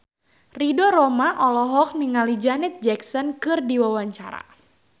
Ridho Roma olohok ningali Janet Jackson keur diwawancara